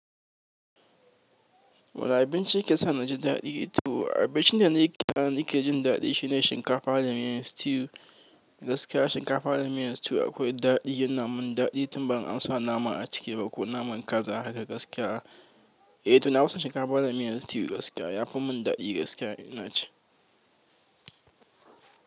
Wane abinci yake sa na ji daɗi? To abincin da na yi ne da ke jin daɗi shine shinkafa da miyan stew gaskiya. Shinkafa da miyan stew akwai daɗi yana min daɗi tun ba'in amsa nama a ciki ba ko naman kaza haka gaskiya. Eh to na fi son shinkafa da miyan stew gaskiya yafi mun daɗi gaskiya ina ci.